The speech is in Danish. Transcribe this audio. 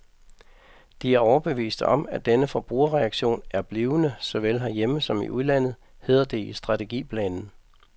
De er overbeviste om, at denne forbrugerreaktion er blivende såvel herhjemme som i udlandet, hedder det i strategiplanen.